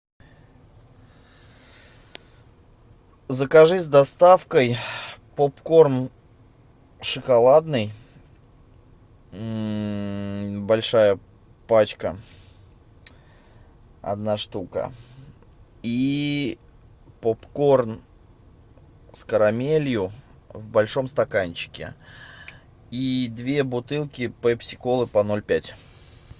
закажи с доставкой попкорн шоколадный большая пачка одна штука и попкорн с карамелью в большом стаканчике и две бутылки пепси колы по ноль пять